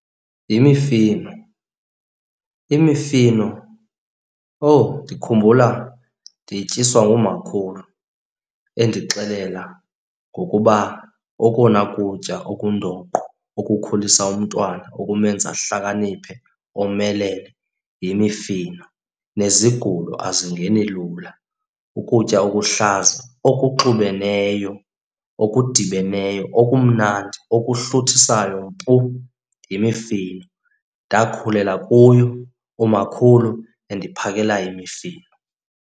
Yimifino. Imifino, owu ndikhumbula ndiyityiswa ngumakhulu endixelela ngokuba okona kutya okundoqo okukhulisa umntwana, okumenza ahlakaniphe, omelele yimifino. Nezigulo azingeni lula. Ukutya okuhlaza okuxubeneyo, okudibeneyo, okumnandi, okuhluthisayo mpu yimifino. Ndakhulela kuyo umakhulu endiphakela imifino.